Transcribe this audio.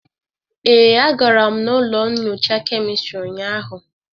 Ee, agara m n'ụlọ nnyocha kemistrị ụnyaahụ.